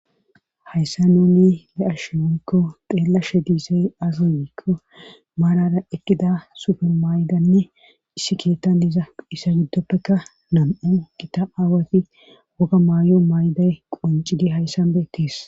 hayssa nuni be'ashe woyikko xeellashe diizey aze giikko maarara eqqida supe maydanne issi keettan diza isa giddoppekka nam'u gita aawati woga maayo mayday qoncidi hayssan beettis